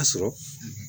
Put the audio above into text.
A sɔrɔ